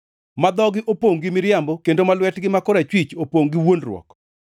ma dhogi opongʼ gi miriambo kendo ma lwetgi ma korachwich opongʼ gi wuondruok.